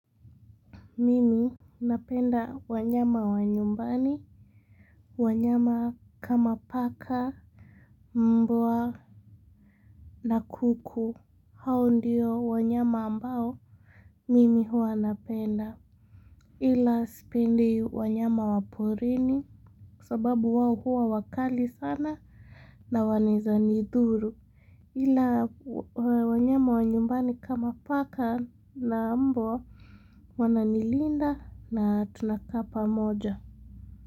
Mimi napenda wanyama wa nyumbani. Wanyama kama paka mpwa na kuku hao ndio wanyama ambao mimi huwa napenda. Ila sipendi wanyama wa porini sababu wao huwa wakali sana na wanaeza nidhuru ila wa wanyama wa nyumbani kama paka na mpwa wananilinda na tunakaa pamoja.